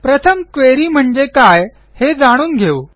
प्रथम क्वेरी म्हणजे काय हे जाणून घेऊ